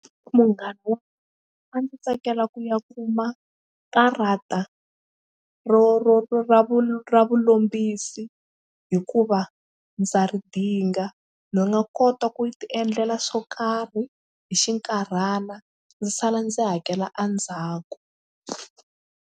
Munghana a ndzi tsakela ku ya kuma karata ro ro ro ra vu ra vulombisi hikuva ndza ri dinga ni nga kota ku tiendlela swo karhi hi xinkarhana ndzi sala ndzi hakela endzhaku.